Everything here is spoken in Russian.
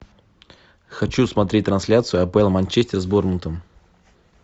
хочу смотреть трансляцию апл манчестер с борнмутом